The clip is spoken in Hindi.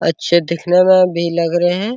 अच्छे देखने मे भी लग रहे है ।